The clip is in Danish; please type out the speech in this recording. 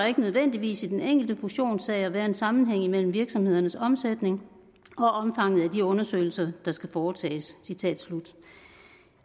ikke nødvendigvis i den enkelte fusionssag at være sammenhæng mellem virksomhedernes omsætning og omfanget af de undersøgelser der skal foretages